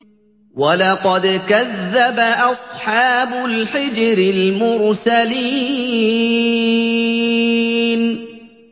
وَلَقَدْ كَذَّبَ أَصْحَابُ الْحِجْرِ الْمُرْسَلِينَ